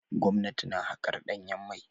Gwamnati na haƙar ɗanyen mai.